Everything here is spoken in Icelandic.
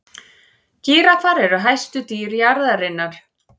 gíraffar eru hæstu dýr jarðarinnar